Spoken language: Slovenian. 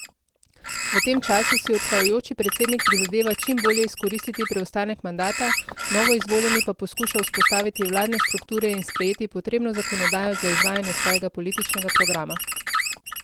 V tem času si odhajajoči predsednik prizadeva čim bolje izkoristiti preostanek mandata, novoizvoljeni pa poskuša vzpostaviti vladne strukture in sprejeti potrebno zakonodajo za izvajanje svojega političnega programa.